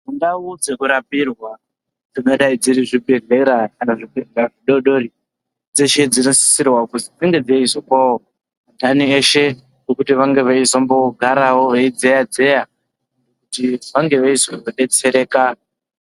Ndau dzekurapirwa dzingadai dziri zvibhedhlera kana zvibhedhlera zvidodori dzeshe dzinosisirwa kuzo dzinge dzeizopawo andani eshe pekuti vange veizombigarawo veidzeya dzeya kuti vange veizodetsereka.